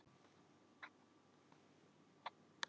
spurði Sveinn, nývaknaður í dyragættinni.